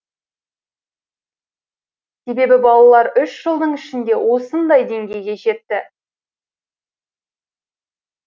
себебі балалар үш жылдың ішінде осындай деңгейге жетті